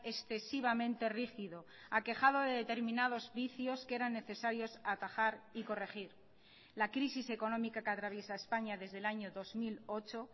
excesivamente rígido aquejado de determinados vicios que eran necesarios atajar y corregir la crisis económica que atraviesa españa desde el año dos mil ocho